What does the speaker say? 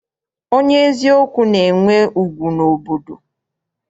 Onye eziokwu na-enwe ugwu n'obodo.